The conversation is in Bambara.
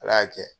Ala y'a kɛ